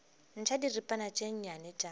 ntšha diripana tše nnyane tša